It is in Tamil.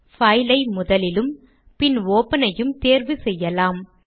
பைல் ஐ முதலிலும் பின் ஒப்பன் ஐயும் தேர்வு செய்யலாம்